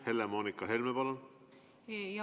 Helle-Moonika Helme, palun!